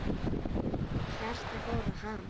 Hjartað fór að hamast.